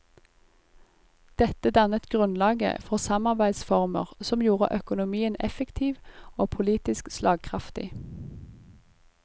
Dette dannet grunnlaget for samarbeidsformer som gjorde økonomien effektiv og politisk slagkraftig.